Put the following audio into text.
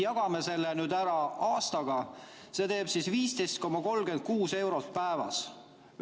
Jagame selle nüüd ära kuu peale, see teeb 15,36 eurot päevas.